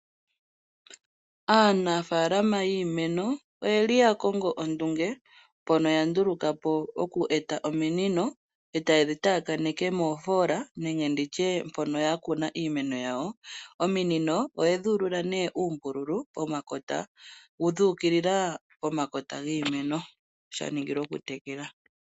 Aanafaalama yiimeno oye li ya kongo ondunge, mpono ya nduluka po oku eta ominino e ta ye taakaneke moofoola nenge mpono ya kuna iimeno yawo. Ominino oye dhi ulula uumbululu dhuuukilila omakota giimeno sha ningila oku tekela.